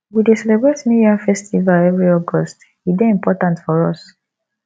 we dey celebrate new yam festival every august e dey important for us